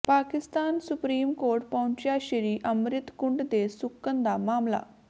Pak supreme court ਪਹੁੰਚਿਆ ਸ੍ਰੀ ਅੰਮਿ੍ਤ ਕੁੰਡ ਦੇ ਸੁੱਕਣ ਦਾ ਮਾਮਲਾ